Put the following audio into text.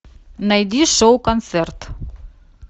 найди шоу концерт